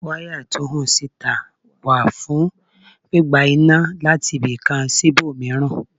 Wáyà tó hàn sí ìtà wà fún gbígba iná láti ibìkan sí ibòmíràn.